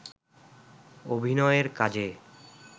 অভিনয়ের কাজে